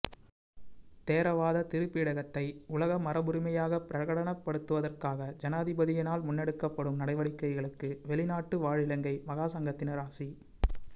தேரவாத திரிபீடகத்தை உலக மரபுரிமையாக பிரகடனப்படுத்துவதற்காக ஜனாதிபதியினால் முன்னெடுக்கப்படும் நடவடிக்கைகளுக்கு வெளிநாட்டு வாழ் இலங்கை மகாசங்கத்தினர் ஆசி